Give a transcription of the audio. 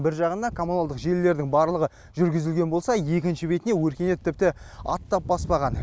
бір жағына коммуналдық желілердің барлығы жүргізілген болса екінші бетіне өркениет тіпті аттап баспаған